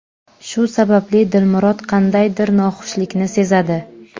Shu sababli Dilmurod qandaydir noxushlikni sezadi.